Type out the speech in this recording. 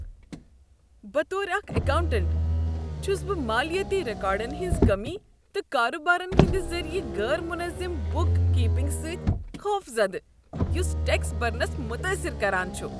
بطور اکھ اکاونٹنٹ، چھس بہ مالیٲتی ریکارڈن ہنٛز کمی تہٕ کاربارن ہٕنٛدِ ذٔریع غیر منظم بُک کیپنگ سۭتۍ خوفزدہ یس ٹیکس برنس متٲثر کران چھ۔